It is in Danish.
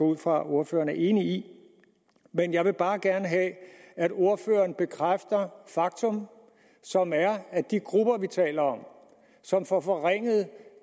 ud fra at ordføreren er enig i men jeg vil bare gerne have at ordføreren bekræfter det faktum som er at de grupper vi taler om og som får forringet